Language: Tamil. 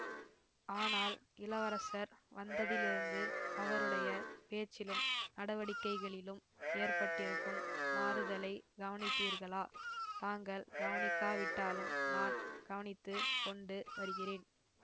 ஆனால் இளவரசர் வந்ததிலிருந்து அவருடைய பேச்சிலும் நடவடிக்கைகளிலும் ஏற்பட்டிருக்கும் மாறுதலைக் கவனித்தீர்களா தாங்கள் கவனிக்காவிட்டாலும் நான் கவனித்து கொண்டு வருகிறேன்